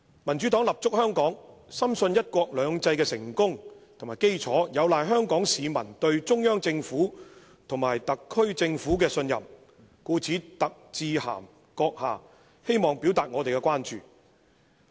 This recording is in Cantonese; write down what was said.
民主黨立足香港，深信'一國兩制'成功的基礎，有賴香港市民對中央政府和香港特別行政區政府的信任，故特致函閣下，希望表達我們的關注。